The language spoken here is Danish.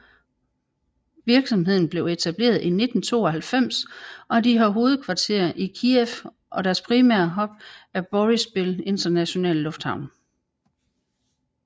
Virksomheden blev etableret i 1992 og de har hovedkvarter i Kyiv og deres primære hub er Boryspil Internationale Lufthavn